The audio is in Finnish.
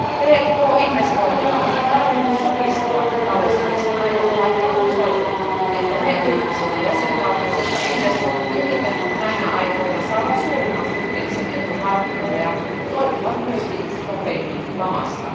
Tk investoinneilla on taipumus supistua talouskriisin aikana, vaikka on osoitettu, että ne yritykset ja jäsenvaltiot, jotka investoivat eniten näinä aikoina, saavat suurimman suhteellisen edun markkinoilla ja toipuvat myös nopeimmin lamasta.